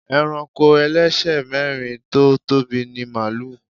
Ẹranko ẹlẹ́sẹ̀ mẹ́rin tó tóbi ni màlúù.